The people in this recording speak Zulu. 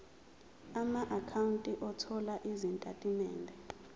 amaakhawunti othola izitatimende